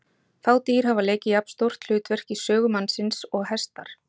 Fá dýr hafa leikið jafn stórt hlutverk í sögu mannsins og hestar.